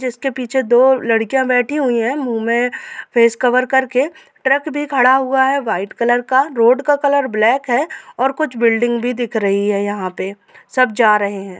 जिसके पीछे दो लड़किया बैठी हुई है मुँह में फेस कवर कर के ट्रक भी खड़ा हुआ है व्हाइट कलर का रोड का कलर ब्लैक है और कुछ बिल्डिंग भी दिख रही है यहा पे सब जा रहे है।